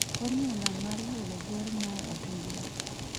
fomula ma yudo bor ma ohinga